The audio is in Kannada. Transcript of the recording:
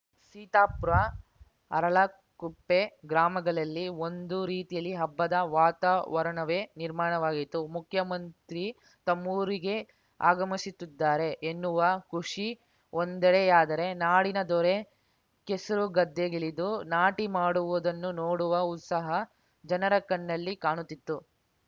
ಸೀತಾಪುರ ಅರಳಕುಪ್ಪೆ ಗ್ರಾಮಗಳಲ್ಲಿ ಒಂದು ರೀತಿಯಲ್ಲಿ ಹಬ್ಬದ ವಾತಾವರಣವೇ ನಿರ್ಮಾಣವಾಗಿತ್ತು ಮುಖ್ಯಮಂತ್ರಿ ತಮ್ಮೂರಿಗೆ ಆಗಮಿಸುತ್ತಿದ್ದಾರೆ ಎನ್ನುವ ಖುಷಿ ಒಂದೆಡೆಯಾದರೆ ನಾಡಿನ ದೊರೆ ಕೆಸರುಗದ್ದೆಗಿಳಿದು ನಾಟಿ ಮಾಡುವುದನ್ನು ನೋಡುವ ಉತ್ಸಾಹ ಜನರ ಕಣ್ಣಲ್ಲಿ ಕಾಣುತ್ತಿತ್ತು